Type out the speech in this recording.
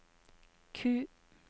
Q